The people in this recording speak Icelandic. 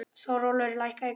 Þórólfur, lækkaðu í græjunum.